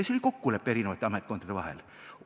See oli kokkulepe eri ametkondade vahel.